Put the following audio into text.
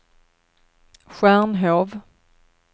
Stjärnhov